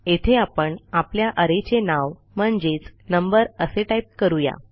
येथे आपण आपल्या arrayचे नाव म्हणजेच नंबर असे टाईप करू या